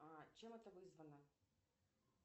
а чем это вызвано